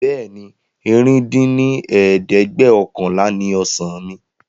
Bẹ́ẹ̀ni, ẹ̀rin dín ní ẹ̀ẹ́dẹ́gbẹ́ọ̀kànlá ni ọ̀sán mi